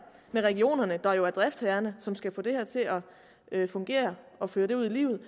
med regionerne der jo er driftsherrerne som skal få det her til at fungere og føre det ud i livet